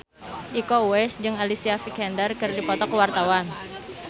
Iko Uwais jeung Alicia Vikander keur dipoto ku wartawan